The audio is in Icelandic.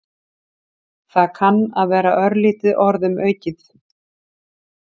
Það kann að vera örlítið orðum aukið.